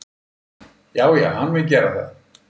Já já, hann mun gera það.